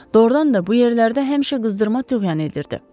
Doğrudan da bu yerlərdə həmişə qızdırma töhvan edirdi.